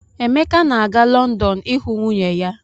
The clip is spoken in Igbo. Emeka na-aga Lọndọn ịhụ nwunye ya.